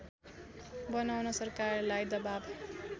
बनाउन सरकारलाई दबाब